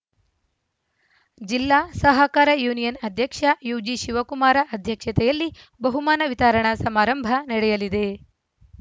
ಜಿಲ್ಲಾ ಸಹಕಾರ ಯೂನಿಯನ್‌ ಅಧ್ಯಕ್ಷ ಯುಜಿಶಿವಕುಮಾರ ಅಧ್ಯಕ್ಷತೆಯಲ್ಲಿ ಬಹುಮಾನ ವಿತರಣಾ ಸಮಾರಂಭ ನಡೆಯಲಿದೆ